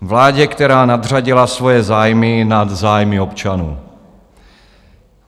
Vládě, která nadřadila svoje zájmy nad zájmy občanů.